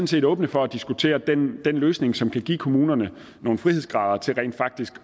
set åbne for at diskutere den løsning som kan give kommunerne nogle frihedsgrader til rent faktisk